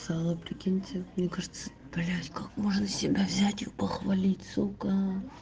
прикинь коляска можно себя взять и похвалить сукко